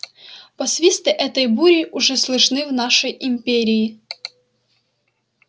посвисты этой бури уже слышны в нашей империи